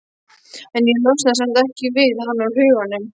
En ég losnaði samt ekki við hann úr huganum.